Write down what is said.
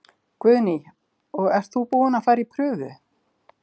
Guðný: Og ert þú búin að fara í prufu?